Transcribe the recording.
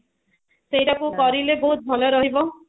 ସେଟାକୁ କରିଲେ ବହୁତ ଭଲ ଲାଗିବ